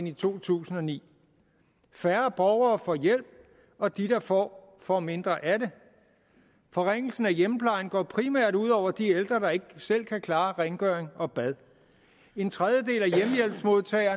i to tusind og ni færre borgere får hjælp og de der får for mindre af det forringelsen af hjemmeplejen går primært ud over de ældre der ikke selv kan klare rengøring og bad en tredjedel